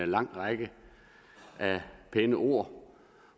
lang række af pæne ord